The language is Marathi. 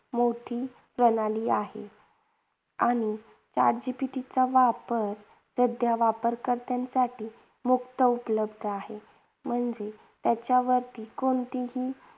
मोठी प्रणाली आहे. आणि chat GPT चा वापर सध्या वापरकर्त्यांसाठी मुफ्त उपलब्ध आहे. म्हणजेच त्याच्यावरती कोणतीही